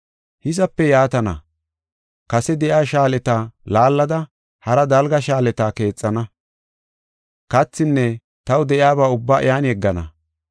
Hizape yaatana; kase de7iya shaaleta laallada haraa dalga shaaleta keexana. Kathinne taw de7iyaba ubbaa iyan yeggana.